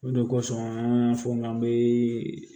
O de kosɔn an y'a fɔ n ka